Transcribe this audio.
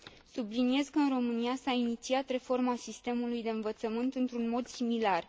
Subliniez că în România s a inițiat reforma sistemului de învățământ într un mod similar.